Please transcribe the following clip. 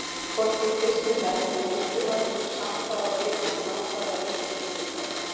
En hvorki kristnir menn né múslímar vildu samt hafa vikuna nákvæmlega eins og Gyðingar.